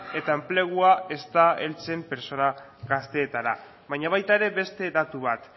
eta enplegua ez da heltzen pertsona gazteetara baina baita ere beste datu bat